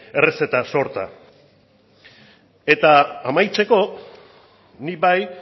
errezeta sorta eta amaitzeko nik bai